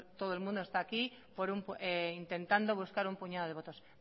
todo el mundo está aquí intentando buscar un puñado de votos